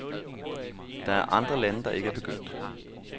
Der er andre lande, der ikke er begyndt.